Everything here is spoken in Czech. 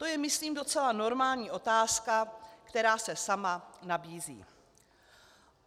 To je myslím docela normální otázka, která se sama nabízí.